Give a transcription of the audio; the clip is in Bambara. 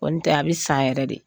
Kɔni tɛ a bɛ san yɛrɛ de